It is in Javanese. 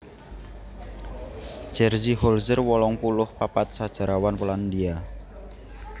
Jerzy Holzer wolung puluh papat sajarawan Polandia